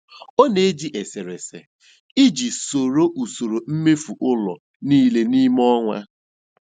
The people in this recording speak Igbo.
Ọ na-eji eserese iji soro usoro mmefu ụlọ niile n'ime ọnwa.